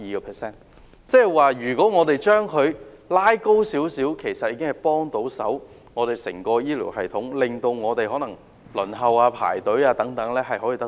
換言之，如果我們將有關比例提高，其實已經可以紓緩整個醫療系統輪候情況的壓力。